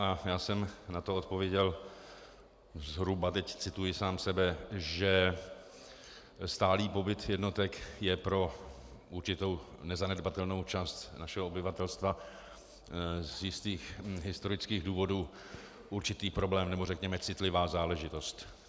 A já jsem na to odpověděl zhruba, teď cituji sám sebe, že stálý pobyt jednotek je pro určitou nezanedbatelnou část našeho obyvatelstva z jistých historických důvodů určitý problém, nebo řekněme citlivá záležitost.